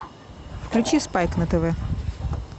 включи спайк на тв